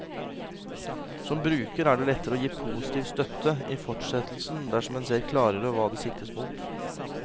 Som bruker er det lettere å gi positiv støtte i fortsettelsen dersom en ser klarere hva det siktes mot.